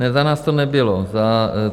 Ne, za nás to nebylo.